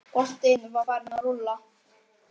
Boltinn var farinn að rúlla.